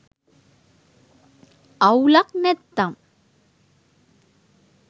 අවුලක් නැත්තම්